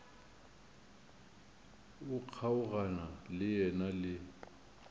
o kgaogana le yena le